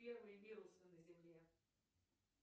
первые вирусы на земле